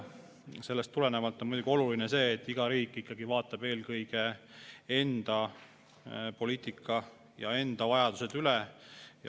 Sellest tulenevalt on muidugi oluline, et iga riik ikkagi vaatab eelkõige enda poliitika ja enda vajadused üle.